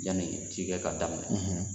Yanni cikɛ ka daminɛ